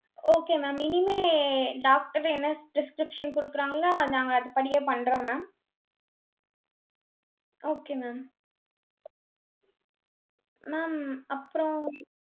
okay ma'am இனிமே doctor என்ன prescription குடுக்குறாங்களோ, நாங்க அதுபடியே பண்றோம் mam okay mam mam அப்புறம்